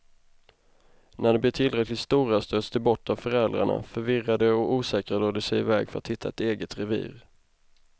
När de blir tillräckligt stora stöts de bort av föräldrarna, förvirrade och osäkra drar de i väg för att hitta ett eget revir.